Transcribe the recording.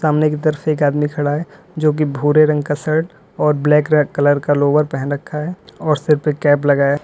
सामने की तरफ से एक आदमी खड़ा है जोकी भूरे रंग का शर्ट और ब्लैक रं कलर का लोवर पहन रखा है और सिर पर कैप लगाए --